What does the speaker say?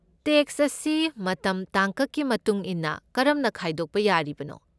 Tax ꯑꯁꯤ ꯃꯇꯝ ꯇꯥꯡꯀꯛꯀꯤ ꯃꯇꯨꯡ ꯏꯟꯅ ꯀꯔꯝꯅ ꯈꯥꯏꯗꯣꯛꯄ ꯌꯥꯔꯤꯕꯅꯣ?